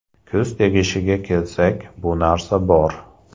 Ko‘z tegishiga kelsak, bu narsa bor.